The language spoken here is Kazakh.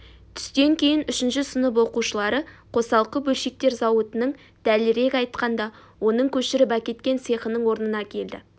түстен кейін үшінші сынып оқушылары қосалқы бөлшектер зауытының дәлірек айтқанда оның көшіріп әкеткен цехының орнына келді